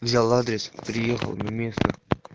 взял адрес приехал на место